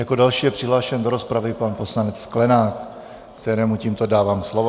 Jako další je přihlášen do rozpravy pan poslanec Sklenák, kterému tímto dávám slovo.